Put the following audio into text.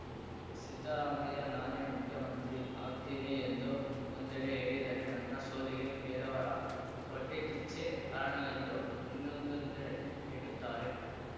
ಸಿದ್ದರಾಮಯ್ಯ ನಾನೇ ಮುಖ್ಯಮಂತ್ರಿ ಆಗ್ತೀನಿ ಎಂದು ಒಂದೆಡೆ ಹೇಳಿದರೆ ನನ್ನ ಸೋಲಿಗೆ ಕೆಲವರ ಹೊಟ್ಟೆಕಿಚ್ಚೇ ಕಾರಣವೆಂದು ಇನ್ನೊಂದೊಂದೆಡೆ ಹೇಳುತ್ತಾರೆ